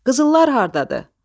Qızıllar hardadır?